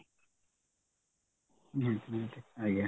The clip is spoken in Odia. ହଁ ହଁ ଆଜ୍ଞା